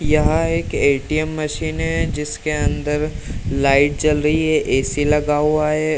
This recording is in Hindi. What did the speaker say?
यहां एक ए.टी.एम. मशीन है जिसके अंदर लाइट जल रही है। ए.सी. लगा हुआ है।